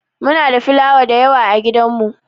Muna da filawa dayawa a gidan mu.